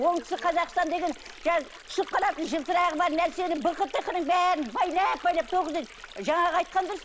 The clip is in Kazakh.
оңтүстік қазақстан деген жаңағы түсіп қалатын жылтырағы бар нәрсенің бықы тықының бәрін байлап байлап жаңағы айтқан дұрыс